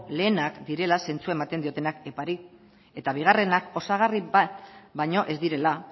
lehenak direla zentzua ematen diotenak epari eta bigarrenak osagarri bat baino ez direla